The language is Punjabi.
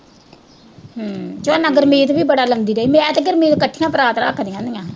ਤੇ ਮੇਰੇ ਨਾਲ ਗੁਰਮੀਤ ਵੀ ਬੜਾ ਲਾਉਂਦੀ ਰਹੀ, ਮੈਂ ਤੇ ਗੁਰਮੀਤ ਇਕੱਠੀਆਂ ਪਰਾਤ ਰੱਖਦੀਆਂ ਸੀਆਂ।